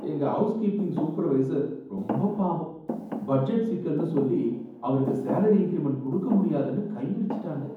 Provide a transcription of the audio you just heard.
எங்க housekeeping supervisor ரொம்ப பாவம், பட்ஜெட் சிக்கல்னு சொல்லி அவருக்கு சேலரி இன்கிரிமென்ட் குடுக்க முடியாதுன்னு கைவிரிச்சுட்டாங்க.